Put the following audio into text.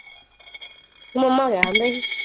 ਮਾਮਾ ਕਹਿਣ ਡੇਆ ਸੀ।